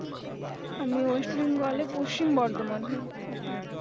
আমি West Bengal এ পশ্চিম বর্ধমানে থাকি